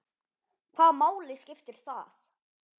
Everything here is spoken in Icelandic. Hvaða máli skipti það?